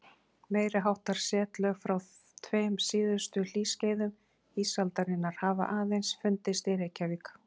Meiri háttar setlög frá tveim síðustu hlýskeiðum ísaldarinnar hafa aðeins fundist í Reykjavík.